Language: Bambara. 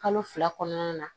Kalo fila kɔnɔna na